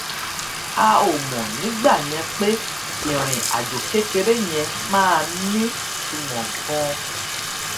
a ò mò nígbà yẹn pé ìrìn àjò kékeré yẹn máa nítumò ganan